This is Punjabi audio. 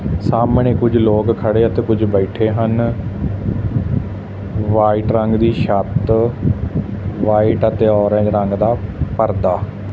ਸਾਹਮਣੇ ਕੁਝ ਲੋਕ ਖੜੇ ਤੇ ਕੁਝ ਲੋਕ ਬੈਠੇ ਹਨ ਵਾਈਟ ਰੰਗ ਦੀ ਛੱਤ ਵਾਈਟ ਅਤੇ ਹਰੇ ਰੰਗ ਦਾ ਪਰਦਾ--